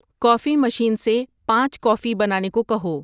کافی machine سے پانچ coffee بنانے کو کہو